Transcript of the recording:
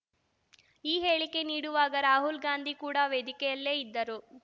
ಈ ಹೇಳಿಕೆ ನೀಡುವಾಗ ರಾಹುಲ್‌ಗಾಂಧಿ ಕೂಡ ವೇದಿಕೆಯಲ್ಲೇ ಇದ್ದರು